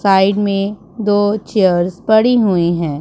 Side में दो chairs पड़ी हुई हैं।